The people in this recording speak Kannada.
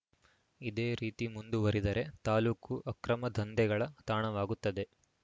ಇದೇ ರೀತಿ ಮುಂದುವರಿದರೆ ತಾಲೂಕು ಅಕ್ರಮ ದಂಧೆಗಳ ತಾಣವಾಗುತ್ತದೆ